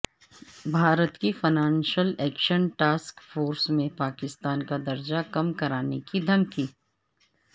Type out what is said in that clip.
بھارت کی financial action task force میں پاکستان کا درجہ کم کرانےکی دھمکی